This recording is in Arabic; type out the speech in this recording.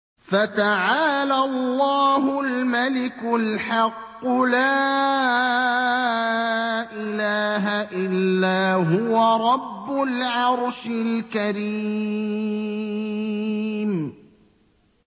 فَتَعَالَى اللَّهُ الْمَلِكُ الْحَقُّ ۖ لَا إِلَٰهَ إِلَّا هُوَ رَبُّ الْعَرْشِ الْكَرِيمِ